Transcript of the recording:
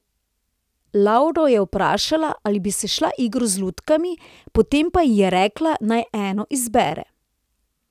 Lavro je vprašala, ali bi se šla igro z lutkami, potem pa ji je rekla, naj eno izbere.